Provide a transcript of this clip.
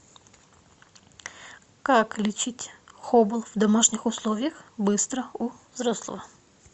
как лечить хобл в домашних условиях быстро у взрослого